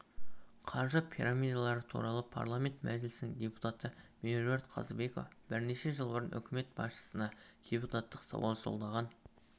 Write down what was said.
қаржы пирамидалары туралы парламент мәжілісінің депутаты меруерт қазыбекова бірнеше жыл бұрын үкімет басшысына депутаттық сауал жолдаған